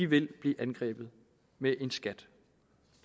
vil blive angrebet med en skat